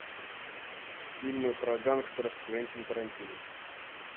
фильмы про гангстеров квентин тарантино